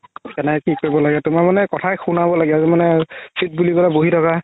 কেনে কি কৰিব লাগে তুমাৰ মানে কথাই শুনাব লাগে আৰু মানে sit বুলি ক'লে বহি থকা